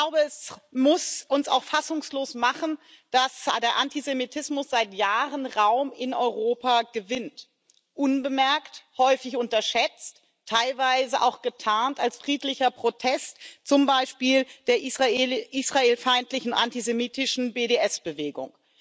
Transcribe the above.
Es muss uns auch fassungslos machen, dass der Antisemitismus seit Jahren in Europa Raum gewinnt unbemerkt, häufig unterschätzt, teilweise auch getarnt als friedlicher Protest zum Beispiel der israelfeindlichen antisemitischen BDS Bewegung.